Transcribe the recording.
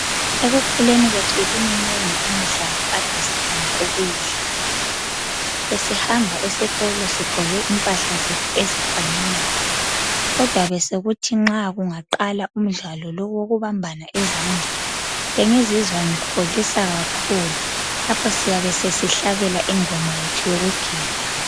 Ekukhuleni kwethu ibiminengi imidlalo kade sithanda ukuyidlala. Besihamba esikolo sigqoke impahla zethu ezifananayo kodwa besokuthi nxa kungaqala umdlalo lowu owokubambana izandla, bengizizwa ngikholisa kakhulu lapho siyabe sesihlabela ingoma yethu yokugida.